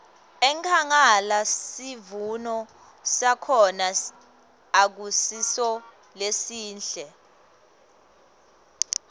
enkhangala sivuno sakhona akusiso lesihle